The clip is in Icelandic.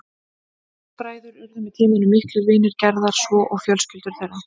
Þeir bræður urðu með tímanum miklir vinir Gerðar svo og fjölskyldur þeirra.